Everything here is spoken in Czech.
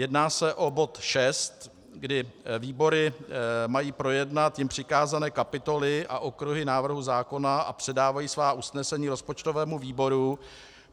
Jedná se o bod 6, kdy výbory mají projednat jim přikázané kapitoly a okruhy návrhu zákona a předávají svá usnesení rozpočtovému výboru.